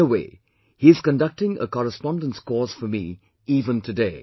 In a way, he is conducting a correspondence course for me even today